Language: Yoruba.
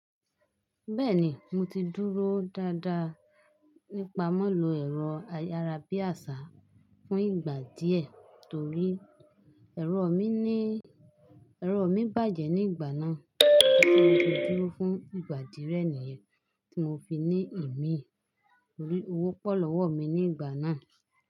Bẹ́ẹ̀ni, mo ti dúró dáadáa nípa mọ́lò ẹ̀rọ ayárabíàṣá fún ìgbà díẹ̀ torí ẹ̀rọ mi bàjẹ́ ní ìgbà náà, bí mo ṣe dúró fún ìgbà díẹ̀ níyẹn tí mo fi ní ìmíì. Torí owó pọ̀ lọ́wọ́ mi ní ìgbà náà.